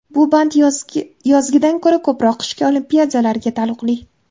Bu band yozgidan ko‘ra ko‘proq qishki Olimpiadalarga taalluqli.